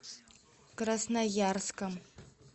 красноярском